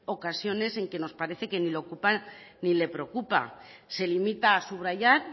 ocasiones en las que nos parece ni lo ocupan ni le preocupa se limita subrayar